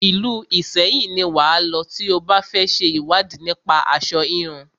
Ìlú Ìṣẹyìn ni wà á lọ tí o bá fẹ ṣe ìwádìí nípa aṣo híhun.